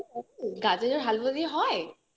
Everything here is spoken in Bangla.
গাজরের হালুয়া দিয়ে হয়